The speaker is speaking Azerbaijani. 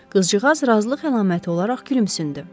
Qızcığaz razılıq əlaməti olaraq gülümsündü.